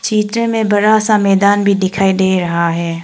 Picture में बड़ा सा मैदान भी दिखाई दे रहा है।